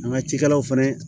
An ka cikɛlaw fana